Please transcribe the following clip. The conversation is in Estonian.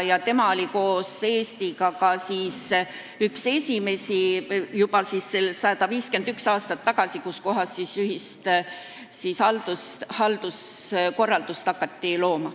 Ja tema oli koos Eestiga üks esimesi 151 aastat tagasi, kui ühist halduskorraldust hakati looma.